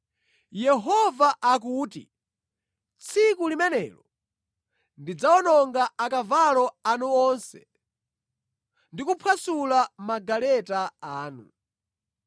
Yehova akuti, “Tsiku limenelo ndidzawononga akavalo anu onse ndi kuphwasula magaleta anu.